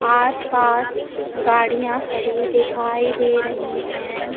आस पास गाड़ियां खड़ी दिखाई दे रही है।